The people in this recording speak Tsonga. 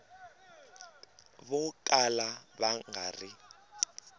vo kala va nga ri